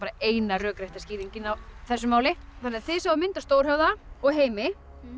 eina rökrétta skýringin á þessu máli þannig að þið sáuð mynd af Stórhöfða og Heimi